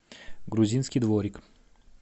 грузинский дворик